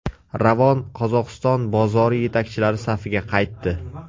Ravon Qozog‘iston bozori yetakchilari safiga qaytdi.